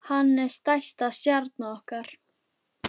Hann er stærsta stjarna okkar.